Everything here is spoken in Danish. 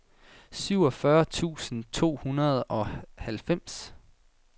syvogfyrre tusind to hundrede og halvfems